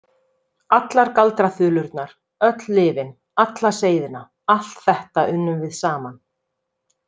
Allar galdraþulurnar, öll lyfin, alla seiðina, allt þetta unnum við saman.